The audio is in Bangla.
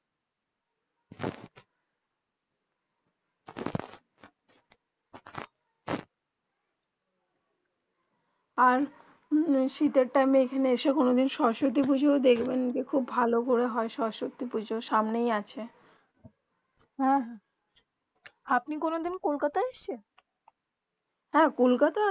আর শীতে টাইম কোনো দিন এখানে এসে কোনো দিন সরস্বতী পুজো দেখবেন যে খুব ভালো বলে হয়ে সরস্বতী পুজো সামনে হি আছে হেঁ হেঁ আপনির কোনো দিন কলকাতা এসেছে হেঁ কলকাতা